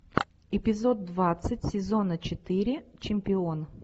эпизод двадцать сезона четыре чемпион